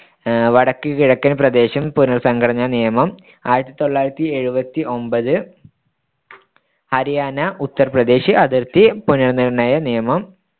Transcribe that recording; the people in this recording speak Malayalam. വടക്ക്കിഴക്കൻ പ്രദേശം പുനർ‌സംഘടനാ നിയമം ആയിരത്തിതൊള്ളായിരത്തിയെഴുപത്തിയൊമ്പത് ഹരിയാന ഉത്തർപ്രദേശ് അതിർത്തി പുനർനിർ‌ണ്ണയ നിയമം